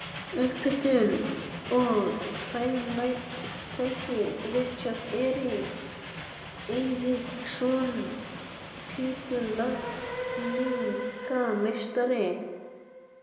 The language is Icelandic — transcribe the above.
Upphitun og hreinlætistæki: Richard Eiríksson, pípulagningameistari.